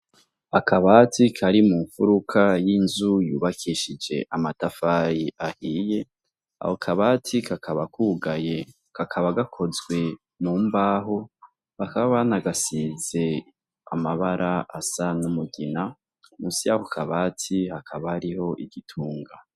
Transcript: Akabati kari mu mfuruka y'inzu yubakishije amatafari ahiye, aho kabati kakaba kugaye kakaba gakozwe mum aho bakaba nagasize amabara asa n'umugina musiyako kabatsi hakaba ariho igitunga.